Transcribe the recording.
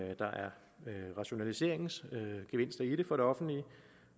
rationaliseringsgevinster i det for det offentlige